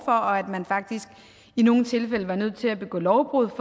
og at man faktisk i nogle tilfælde har nødt til at begå lovbrud